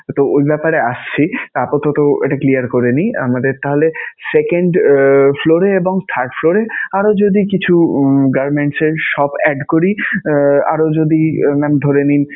তো ওই ব্যাপারে আসছি. আপাতত এটা clear করে নেই. আমাদের তাহলে second floor এ এবং third floor এ আরও যদি কিছু garments এর shop add করি, আরও যদি mam নাম ধরে নিন